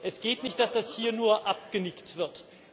Es geht nicht, dass das hier nur abgenickt wird.